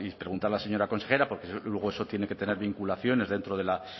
pregunto a la señora consejera porque luego eso tiene que tener vinculaciones dentro de la